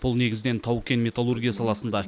бұл негізінен тау кен металлургия саласында